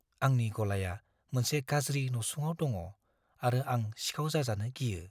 आंनि गलाया मोनसे गाज्रि नसुङाव दङ आरो आं सिखाव जाजानो गियो।